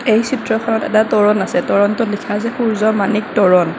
এই চিত্ৰখনত এটা তোৰণ আছে তোৰণটোত লিখা আছে সূৰ্য্য মানিক তোৰণ।